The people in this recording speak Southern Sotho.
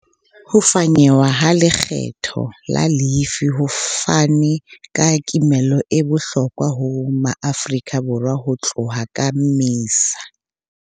Ho fanyehwa ha lekgetho la lefii ho fane ka kimollo e bohlokwa ho Maafrika Borwa ho tloha ka Mmesa.